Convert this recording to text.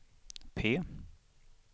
P